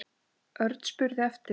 Örn spurði eftir